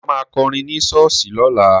Dayọ̀ ma kọrin ní ṣọ́ọ̀ṣì lọ́la